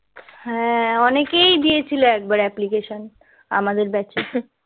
হ্যাঁ অনেকেই দিয়েছিলো application আমাদের batch এ